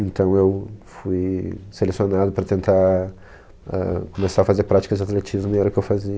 Então, eu fui selecionado para tentar, ahn, começar a fazer práticas de atletismo e era o que eu